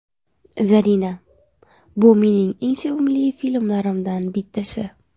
Zarina: Bu mening eng sevimli filmlarimdan bittasi.